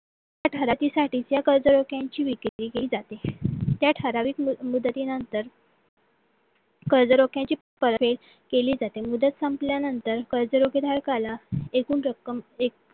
या कर्जरोख्यांची विक्री केली जाते त्या ठराविक मुदतीनंतर कर्जरोख्यांची केली जाते मदत संपल्यानंतर कर्जरोखे धारकाला एकूण रक्कम एक